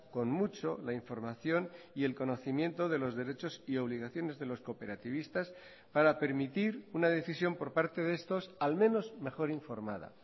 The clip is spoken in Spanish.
con mucho la información y el conocimiento de los derechos y obligaciones de los cooperativistas para permitir una decisión por parte de estos al menos mejor informada